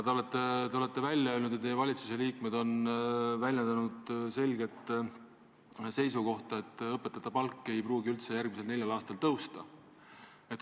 Te olete välja öelnud ja teie valitsuse liikmed on väljendanud selget seisukohta, et õpetajate palk ei pruugi järgmisel neljal aastal üldse tõusta.